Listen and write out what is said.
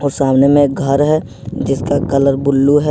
और सामने में घर है जिसका कलर ब्लू है।